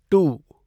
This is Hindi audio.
टू